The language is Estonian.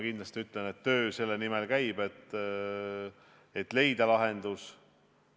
Kindlasti võin öelda seda, et töö selle nimel käib, et leida lahendus.